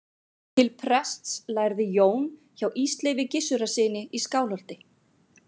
til prests lærði jón hjá ísleifi gissurarsyni í skálholti